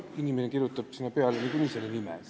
Inimene kirjutab sinna näiteks kreeka keeles nime peale.